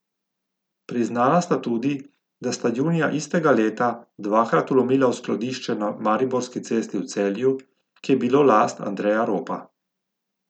Priznala sta tudi, da sta junija istega leta dvakrat vlomila v skladišče na Mariborski cesti v Celju, ki je bilo last Andreja Ropa.